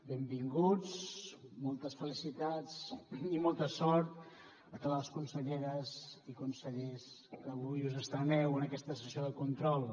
benvinguts moltes felicitats i molta sort a totes les conselleres i consellers que avui us estreneu en aquesta sessió de control